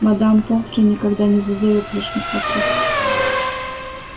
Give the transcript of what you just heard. мадам помфри никогда не задаёт лишних вопросов